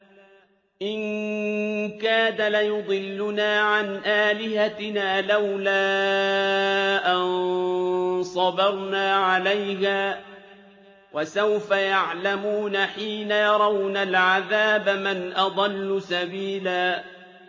إِن كَادَ لَيُضِلُّنَا عَنْ آلِهَتِنَا لَوْلَا أَن صَبَرْنَا عَلَيْهَا ۚ وَسَوْفَ يَعْلَمُونَ حِينَ يَرَوْنَ الْعَذَابَ مَنْ أَضَلُّ سَبِيلًا